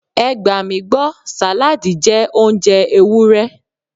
Ẹ gbà mí gbọ́, sàládì jẹ́ oúnjẹ Ewúrẹ́.